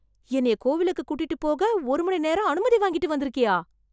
என்னய கோவிலுக்கு கூட்டிட்டுப் போக ஒரு மணி நேரம் அனுமதி வாங்கிட்டு வந்துருக்கியா?